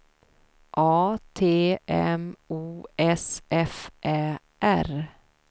A T M O S F Ä R